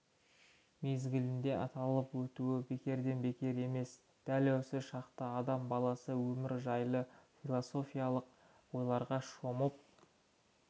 мезгілінде аталып өтуі бекерден-бекер емес дәл осы шақта адам баласы өмір жайлы философиялық ойларға шомып